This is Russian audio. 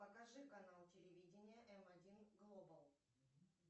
покажи канал телевидения м один глобал